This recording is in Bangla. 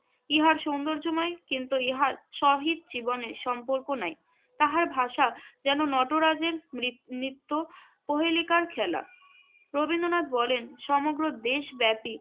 ইহা সৌন্দর্যময় কিন্তু ইহার সহিত জীবনের সম্পর্ক নাই। তাহার ভাষা যেন নটরাজের নৃত~ নৃত্য কোহেলিকার খেলা। রবীন্দ্রনাথ বলেন, সমগ্র দেশব্যাপী